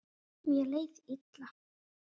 Mér leið illa.